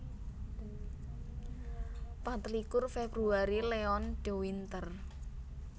Patlikur Februari Leon de Winter